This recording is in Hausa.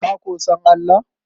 Ka ko san Allah?